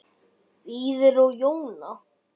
Víðir og Jóna.